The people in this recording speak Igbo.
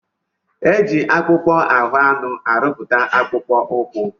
E ji akpụkpọ ahụ anụ arụpụta akpụkpọ ụkwụ.